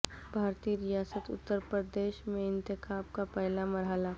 بھارتی ریاست اتر پردیش میں انتخابات کا پہلا مرحلہ